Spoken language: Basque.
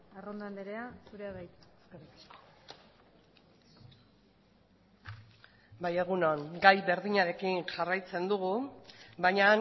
arrondo andrea zurea da hitza bai egun on gai berdinarekin jarraitzen dugu baina